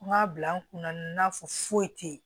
N k'a bila n kunna n'a fɔ foyi tɛ yen